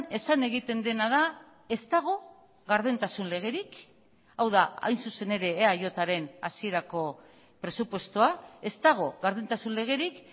esan egiten dena da ez dago gardentasun legerik hau da hain zuzen ere eajren hasierako presupuestoa ez dago gardentasun legerik